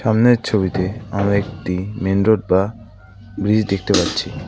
সামনের ছবিতে আমরা একটি মেইন রোড বা ব্রিজ দেখতে পাচ্ছি।